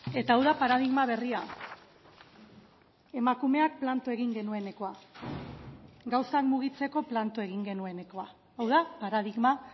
eta hau da paradigma berria emakumeak planto egin genuenekoa gauzak mugitzeko planto egin genuenekoa hau da paradigma